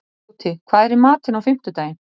Tóti, hvað er í matinn á fimmtudaginn?